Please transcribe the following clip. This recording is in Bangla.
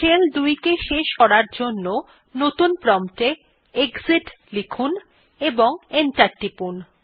শেল ২ কে শেষ করার জন্য নতুন প্রম্পট এ এক্সিট লিখুন এবং এন্টার টিপুন